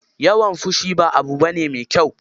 Yawan fushi ba abu bane mai kyau.